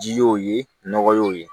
Ji y'o ye nɔgɔ ye